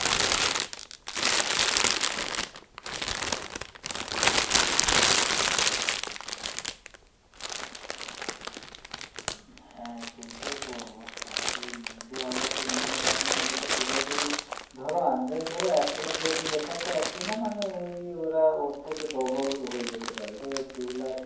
হ্যাঁ সেইটাই তো অবস্থা সেই news এ আবার সেই news এর মাধ্যমে দেখাচ্ছে যদি ধরো আন্দাজ ধরো এক লাখ যদি দেখাচ্ছে একদিনে মানে ওই ওরা ওর থেকে double হয়ে যেতে পারে ধরো দু লাখ